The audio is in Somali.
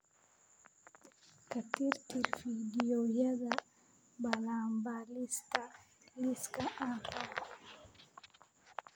ka tirtir fiidiyowyada balanbaalista liiska aan rabo